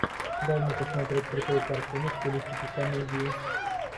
дай мне посмотреть крутую картину в стилистике комедии